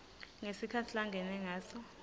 ngesikhatsi langene ngaso